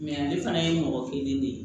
ale fana ye mɔgɔ kelen de ye